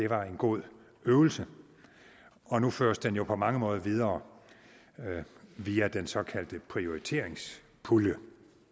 var en god øvelse og nu føres den jo på mange måder videre via den såkaldte prioriteringspulje